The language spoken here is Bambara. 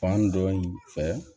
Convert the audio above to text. Fan dɔ in fɛ